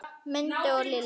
Mundi og Lillý.